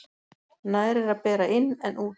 Nær er að bera inn en út.